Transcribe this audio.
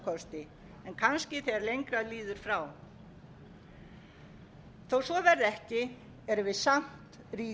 en kannski þegar lengra líður frá þótt svo verði ekki erum við samt rík þjóð